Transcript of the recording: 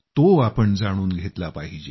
तो आपण जाणून घेतला पाहिजे